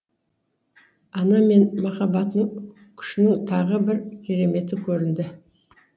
ана мен махаббатының күшінің тағы бір кереметі көрінді